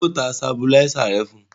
Ṣé ọ ta sabuláísà rẹ fún un?